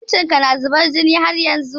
Hancin ka na zuban jini haryanzun?